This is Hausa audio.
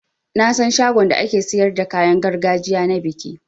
Nasan shagon da ake siyar da kayan gargajiya na biki.